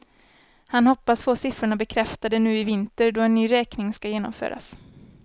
Han hoppas få siffrorna bekräftade nu i vinter då en ny räkning ska genomföras.